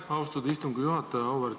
Aitäh, austatud istungi juhataja!